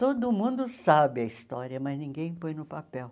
Todo mundo sabe a história, mas ninguém põe no papel.